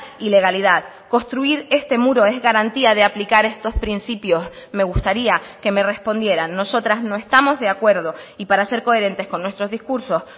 y legalidad construir este muro es garantía de aplicar estos principios me gustaría que me respondieran nosotras no estamos de acuerdo y para ser coherentes con nuestros discursos